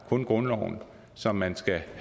kun grundloven som man skal have